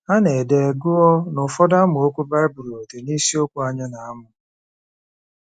A na - ede “ gụọ ” n’ụfọdụ amaokwu Baịbụl dị n’isiokwu anyị na - amụ.